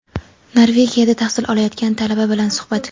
Norvegiyada tahsil olayotgan talaba bilan suhbat.